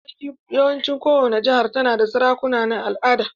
Yawancin kowani jihar ta na da sarakuna na al'ada.